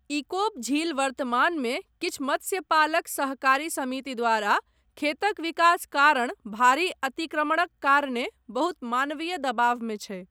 इकोप झील वर्तमानमे किछु मत्स्यपालक सहकारी समिति द्वारा खेतक विकास कारण भारी अतिक्रमणक कारणे बहुत मानवीय दबावमे छै।